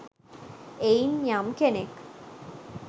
එයින් යම් කෙනෙක්